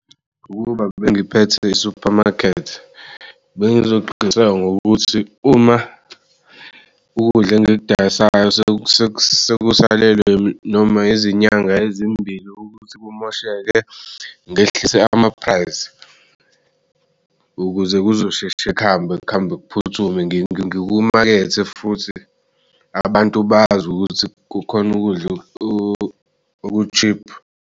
Ukuba bengiphethe i-supermarket bengizoqiniseka ngokuthi uma ukudla engiyidayisayo sekusalelwe noma izinyanga ezimbili ukuthi kumosheke ngehlise ama-price, ukuze kuzosheshe kuhambe kuhambe kuphuthume ngikumakethe futhi abantu bazi ukuthi kukhona ukudla oku-cheap.